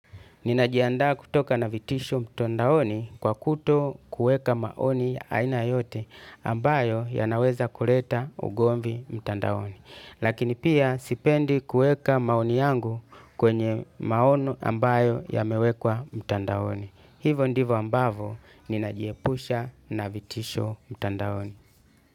Ninajihandaa kutoka na vitisho mtandaoni kwa kutokuweka maoni aina yoyote ambayo yanaweza kuleta ugomvi mtandaoni. Lakini pia sipendi kueka maoni yangu kwenye maono ambayo yamewekwa mtandaoni. Hivo ndivo ambavo, ninajiepusha na vitisho mtandaoni.